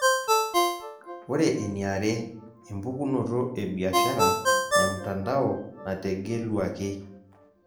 Ore eniare, empukunoto ebiashara emtandao nategeluaki.